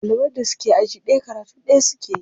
Ɗaliban da suke aji ɗaya karatu ɗaya suke yi.